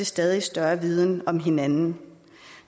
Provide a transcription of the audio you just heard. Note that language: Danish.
stadig større viden om hinanden